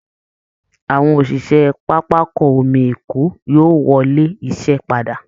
Àwọn òṣìṣẹ́ pápákọ omi Èkó yóò wọlé iṣẹ́ padà